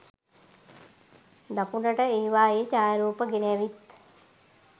දකුණට ඒවායේ ඡායාරුප ගෙන ඇවිත්